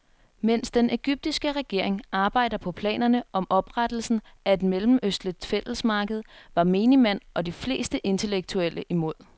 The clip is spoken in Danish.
Mens den egyptiske regering arbejder på planerne om oprettelsen af et mellemøstligt fællesmarked, var menigmand og de fleste intellektuelle imod.